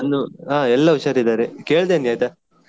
ನಂದು ಹಾ ಎಲ್ಲಾ ಹುಷಾರಿದ್ದಾರೆ ಕೇಳ್ದೆನ್ನಿ ಆಯ್ತಾ.